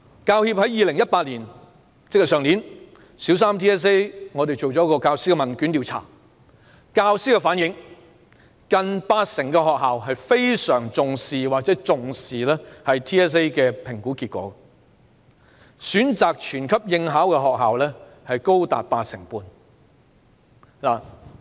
教協於去年曾就小三 BCA 向教師進行了問券調查，根據教師回應，近八成學校非常重視或重視 BCA 的評估結果，而選擇全級應考的學校，高達八成半。